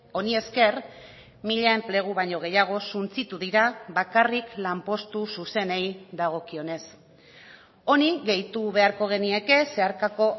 honi esker mila enplegu baino gehiago suntsitu dira bakarrik lanpostu zuzenei dagokionez honi gehitu beharko genieke zeharkako